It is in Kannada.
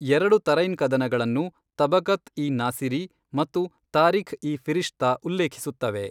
ಎರಡು ತರೈನ್ ಕದನಗಳನ್ನು ತಬಕತ್ ಇ ನಾಸಿರಿ ಮತ್ತು ತಾರಿಖ್ ಇ ಫಿರಿಶ್ತಾ ಉಲ್ಲೇಖಿಸುತ್ತವೆ.